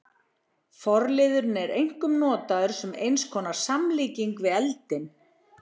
Forliðurinn er einkum notaður sem eins konar samlíking við eldinn.